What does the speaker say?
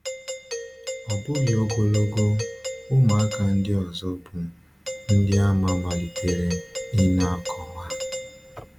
Ọ bụghị ogologo, ụmụaka ndị ọzọ bụ́ Ndịàmà malitere ịna-anọkwa.